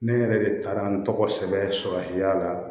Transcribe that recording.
Ne yɛrɛ de taara n tɔgɔ sɛbɛn a la